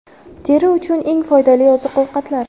Teri uchun eng foydali oziq-ovqatlar.